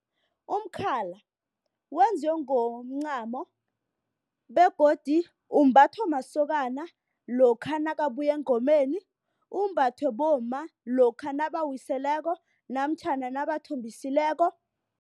Umkhala wenziwe ngomncamo begodu umbathwa masokana lokha nakabuya engomeni. Umbathwe bomma lokha nabawiseleko namtjhana nabathombisileko.